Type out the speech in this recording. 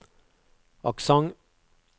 aksent